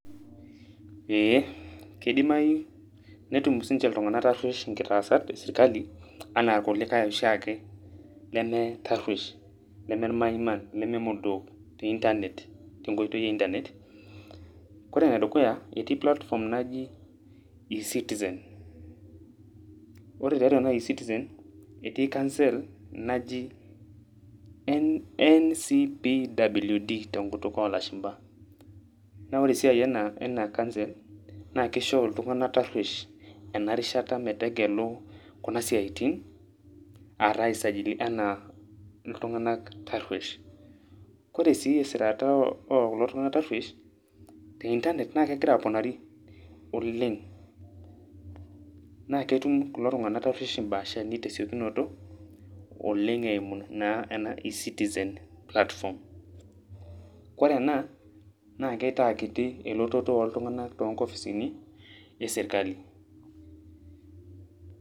Ee, kidimayu netum sinche iltung'anak tarruesh nkitaasat esirkali, anaa irkulikae oshiake leme tarruesh, neme maiman, neme modook, te Internet, tenkoitoi e Internet. Kore enedukuya, etii platform naji e-citizen. Ore tiatua ena e-citizen, etii council naji NCBWD tenkutuk olashumpa. Na ore esiai ena council, na kisho iltung'anak tarruesh enarishata pegelu kuna siaitin, ataa ai sajili enaa iltung'anak tarruesh. Ore sii esirata okulo tung'anak tarruesh, te Internet, na kegira aponari oleng'. Na ketum kulo tung'anak tarruesh imbaashani tesiokinoto, oleng' eimu naa ena e-citizen platform. Kore ena, naa keitaa kiti elototo oltung'anak tonkopisini, eserkali.